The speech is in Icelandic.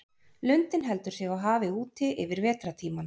Lundinn heldur sig á hafi úti yfir vetrartímann.